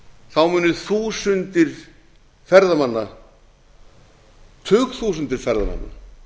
sýningarstöðu munu þúsundir ferðamanna tugþúsundir ferðamanna